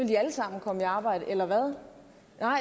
de alle sammen komme i arbejde eller hvad